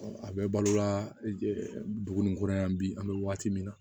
a bɛ balola dugu ni kɔrɔ yan bi an bɛ waati min na